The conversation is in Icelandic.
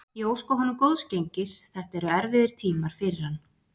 Ég óska honum góðs gengis, þetta eru erfiðir tímar fyrir hann.